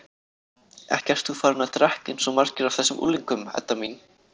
Ekki ert þú farin að drekka eins og margir af þessum unglingum, Edda mín?